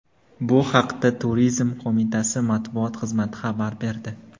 Bu haqda Turizm qo‘mitasi matbuot xizmati xabar berdi.